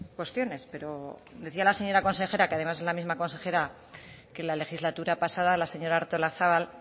cuestiones pero decía la señora consejera que además es la misma consejera que la legislatura pasada la señora artolazabal